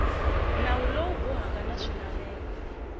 nawu lowu bohaka na swilaveko